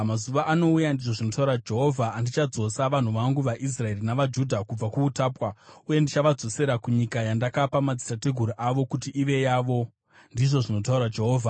Mazuva anouya,’ ndizvo zvinotaura Jehovha, ‘andichadzosa vanhu vangu, vaIsraeri navaJudha kubva kuutapwa. Uye ndichavadzosera kunyika yandakapa madzitateguru avo kuti ive yavo,’ ndizvo zvinotaura Jehovha.”